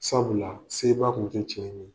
Sabula, se ba kun te cɛ in ye.